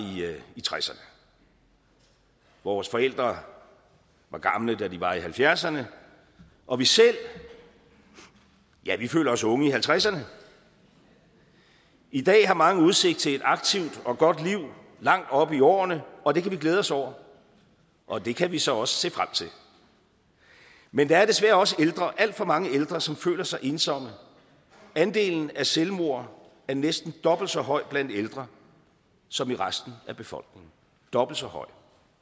tresserne vores forældre var gamle da de var i halvfjerdserne og vi selv ja vi føler os unge i halvtredserne i dag har mange udsigt til et aktivt og godt liv langt oppe i årene og det kan vi glæde os over og det kan vi så også se frem til men der er desværre også alt for mange ældre som føler sig ensomme andelen af selvmord er næsten dobbelt så høj blandt ældre som i resten af befolkningen dobbelt så høj